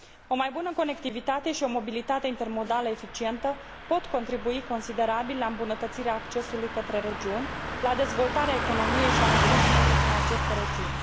O mai bună conectivitate și o mobilitate intermodală eficientă pot contribui considerabil la îmbunătățirea accesului către regiuni, la dezvoltarea economiei și a turismului în aceste regiuni.